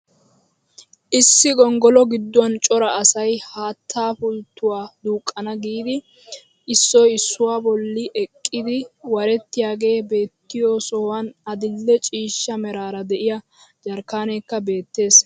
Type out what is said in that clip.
Issi gonggolo gidduwaan cora asay haattaapulttuwaa duuqana giidi issoy issuwaa bolli eqqidi warettiyaagee beettiyoo sohuwaan adil'e ciishsha meraara de'iyaa jarkkaneekka beettees!